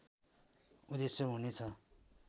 उद्धेश्य हुने छ